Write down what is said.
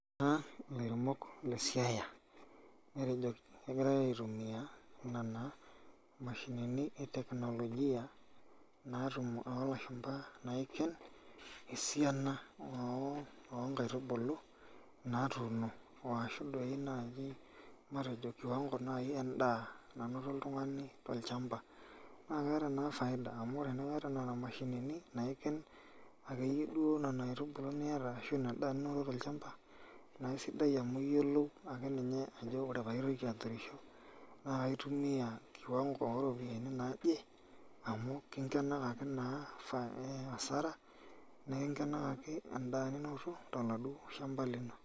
ore naa ilairemok le siaya aitumiaya nena imashinini etekinolojia, naitumiaya oo ilashumba, esiana oo inkaitubulu, naatuuno ashu matejo kiwango edaa nanoto oltungani tolchamba, amu ore nena mashinini naiken ashu ina daa ninoto tol chamba naa kisidai amu, iyiolou akeninye ajo ore pee aitoki aturisho, naa kaitumiya kiwango oo ropiyiani, naaje amu kingenakaki naa asara toladuo shamba lino.